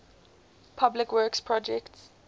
public works projects